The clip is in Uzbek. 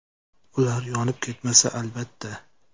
Ular yonib ketmasa, albatta.